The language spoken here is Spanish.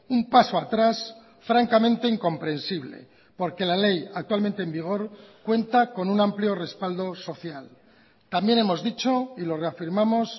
un paso atrás francamente incomprensible porque la ley actualmente en vigor cuenta con un amplio respaldo social también hemos dicho y lo reafirmamos